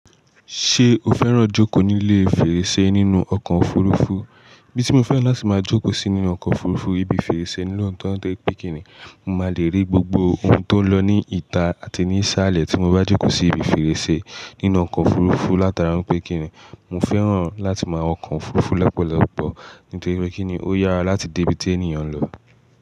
Ṣé o fẹ́ràn jókòó nílé fèrèsé nínú ọkọ̀ òfurufú? Ibí tí mo fẹ́ràn láti máa jókòó sí inú ọkọ̀ òfurufú ibi fèrèsé ní looto tori pé kínì, mo máa lè rí gbogbo ohun tó ń lọ ní ìta àti ní iṣááalẹ̀ tí mo bá jókòó sí ibi fèrèsé nínú ọkọ̀ òfurufú látara pé kínì, mo fẹ́ràn láti máa wo ọkọ̀ òfurufú lopọ̀lọ́pọ̀ nítorí pé kíni ó yára láti dé ibi tí èèyàn ń lọ.